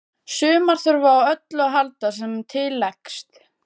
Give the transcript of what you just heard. Sumar þurfa á öllu að halda sem til leggst.